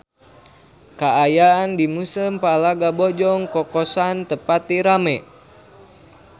Kaayaan di Museum Palagan Bojong Kokosan teu pati rame